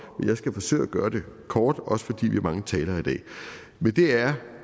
men jeg skal forsøge at gøre det kort også fordi vi er mange talere